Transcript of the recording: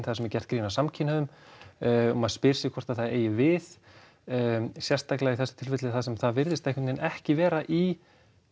þar sem er gert grín að samkynhneigðum og maður spyr sig hvort það eigi við sérstaklega í þessu tilfelli þar sem það virðist einhvern veginn ekki vera í